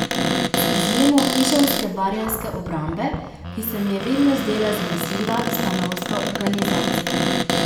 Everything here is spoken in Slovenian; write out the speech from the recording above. Z izjemo Ižanske barjanske obrambe, ki se mi je vedno zdela zanesljiva stanovska organizacija.